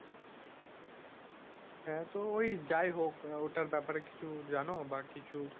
হ্যাঁ তো ওই যাইহোক। আহ ওটার ব্যাপারে কিছু জানো? বা কিছু,